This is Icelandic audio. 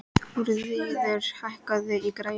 Þuríður, hækkaðu í græjunum.